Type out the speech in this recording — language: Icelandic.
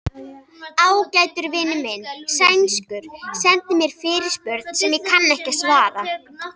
Ágætur vinur minn, sænskur, sendi mér fyrirspurn sem ég kann ekki að svara.